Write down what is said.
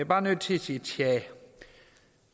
bare nødt til at sige tja